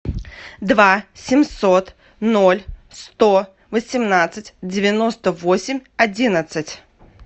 два семьсот ноль сто восемнадцать девяносто восемь одиннадцать